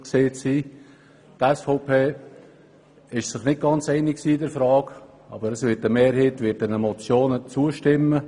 Die SVP war sich nicht ganz einig in dieser Frage, aber eine Mehrheit wird diesen Motionen zustimmen.